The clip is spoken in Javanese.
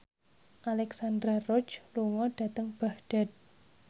Alexandra Roach lunga dhateng Baghdad